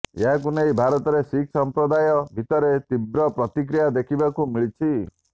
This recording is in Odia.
ଏହାକୁ ନେଇ ଭାରତରେ ଶିଖ୍ ସଂପ୍ରଦାୟ ଭିତରେ ତୀବ୍ର ପ୍ରତିକ୍ରିୟା ଦେଖିବାକୁ ମିଳିଛି